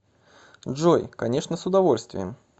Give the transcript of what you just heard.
джой конечно с удовольствием